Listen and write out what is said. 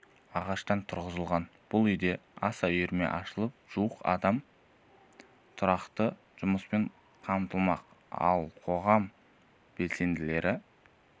ағаштан тұрғызылған бұл үйде аса үйірме ашылып жуық адам тұрақты жұмыспен қамтылмақ ал қоғам белсенделері